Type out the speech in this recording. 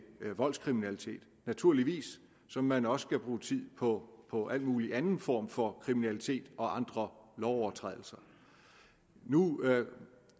voldskriminalitet naturligvis som man også skal bruge tid på på al mulig anden form for kriminalitet og andre lovovertrædelser nu